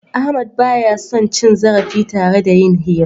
Ahmadu ba ya son cin zarafi tare da yin hira.